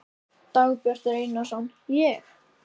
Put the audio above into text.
Dagbjartur Einarsson: Ég?